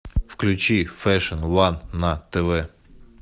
включи фэшн ван на тв